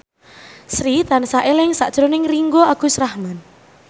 Sri tansah eling sakjroning Ringgo Agus Rahman